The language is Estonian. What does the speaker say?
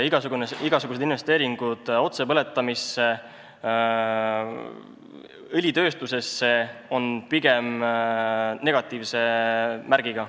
Igasugused investeeringud otsepõletamisse ja õlitööstusesse on pigem negatiivse märgiga.